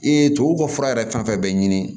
Ee tubabu ka fura yɛrɛ fɛn fɛn bɛ ɲini